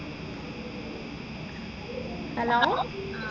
hello